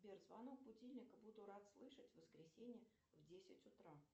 сбер звонок будильника буду рад слышать в воскресенье в десять утра